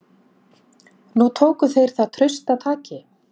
Nú tóku þeir það traustataki.